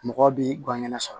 Mɔgɔ b'i gangɛnɛ sɔrɔ